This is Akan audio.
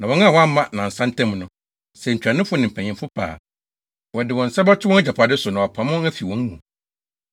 Na wɔn a wɔamma nnansa ntam no, sɛ ntuanofo ne mpanyimfo pɛ a, wɔde wɔn nsa bɛto wɔn agyapade so, na wɔapam wɔn afi wɔn mu.